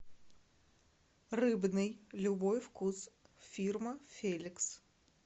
рыбный любой вкус фирма феликс